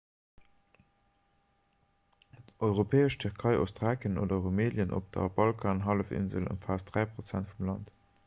d'europäesch tierkei ostthrakien oder rumelien op der balkanhallefinsel ëmfaasst 3 % vum land